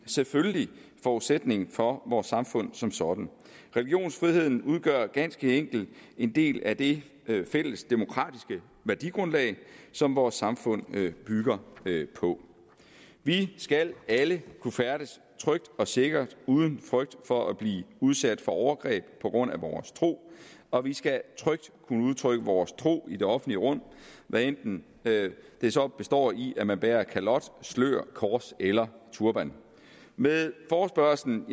selvfølgelig forudsætning for vores samfund som sådan religionsfriheden udgør ganske enkelt en del af det fælles demokratiske værdigrundlag som vores samfund bygger på vi skal alle kunne færdes trygt og sikkert uden frygt for at blive udsat for overgreb på grund af vores tro og vi skal trygt kunne udtrykke vores tro i det offentlige rum hvad enten det så består i at man bærer kalot slør kors eller turban med forespørgslen